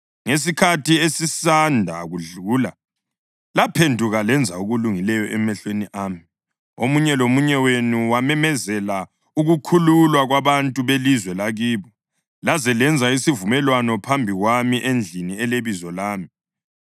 Ngesikhathi esisanda kudlula laphenduka lenza okulungileyo emehlweni ami: Omunye lomunye wenu wamemezela ukukhululwa kwabantu belizwe lakibo. Laze lenza lesivumelwano phambi kwami endlini eleBizo lami.